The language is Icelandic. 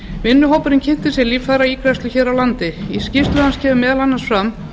vinnuhópurinn kynnti sér líffæraígræðslur hér á landi en í skýrslu hans kemur meðal annars fram